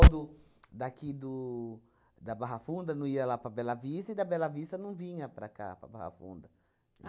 daqui do da Barra Funda não ia lá para Bela Vista, e da Bela Vista não vinha para cá, para Barra Funda.